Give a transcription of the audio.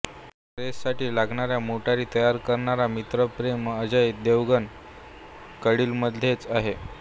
वीरचा रेससाठी लागणाऱ्या मोटारी तयार करणारा मित्र प्रेम अजय देवगण कडकीमध्येच आहे